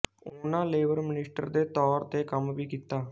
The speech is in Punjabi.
ਉਨਾਂ ਲੇਬਰ ਮਨਿਸਟਰ ਦੇ ਤੌਰ ਤੇ ਕੰਮ ਵੀ ਕੀਤਾ